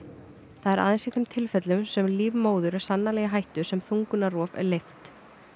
það er aðeins í þeim tilfellum sem líf móður er sannanlega í hættu sem þungunarrof er leyft